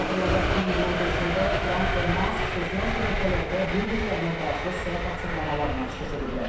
Xatırladaq ki, iyunun 5-də Tramp və Mask sosial şəbəkələrdə bir-birlərinə qarşı sərt açıqlamalarla çıxış ediblər.